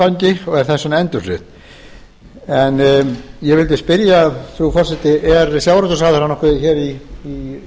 fullnaðarframgangi og er þess vegna endurflutt en ég vildi spyrja frú forseti er sjávarútvegsráðherra nokkuð hér í